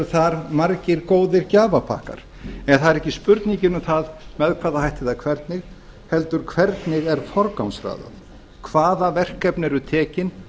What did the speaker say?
þar margir góðir gjafapakkar en það er ekki spurningin um það með hvaða hætti eða hvernig heldur hvernig er forgangsraðað hvaða verkefni eru tekin